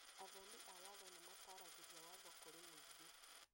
Athomi a watho nĩmataragĩria watho kũrĩ mũingĩ